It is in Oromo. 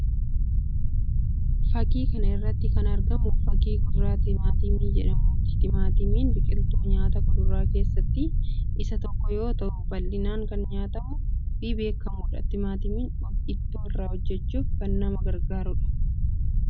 Fakaii kana irratti kan argamu fakii kudura timaatimii jedhamuuti. Timaatimiin biqiltuu nyaata kuduraa keessaa isa tokko yoo ta'u bal'inaan kan nyaatamuu fi beekkamudha. Timaatimiin ittoo irraa hojjechuuf kan nama gargaarudha.